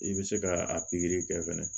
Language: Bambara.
I bɛ se ka a pikiri kɛ fɛnɛ